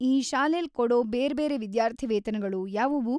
ಈ ಶಾಲೆಲ್ ಕೊಡೋ ಬೇರ್ಬೇರೆ ವಿದ್ಯಾರ್ಥಿವೇತನಗಳು ಯಾವುವು?